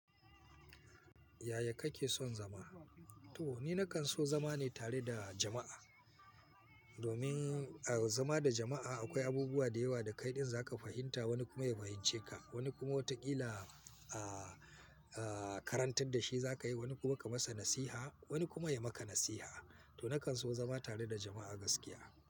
Yaya kake son zama? To ni na kan so zama ne tare da jama'a. Domin a zama da jama'a akwai abubuwa da yawa da kaidain za ka fahimta wani kuma ya fahimce ka. Wani kuma wataƙila aaah, aaah, karantar da shi za ka yi, wani kuma ka masa nasiha, wani kuma ya maka nasiha. To na kan so zama tare da jama'a gaskiya.